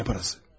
Nə parası?